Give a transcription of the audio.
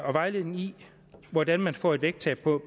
og vejledning i hvordan man får et vægttab på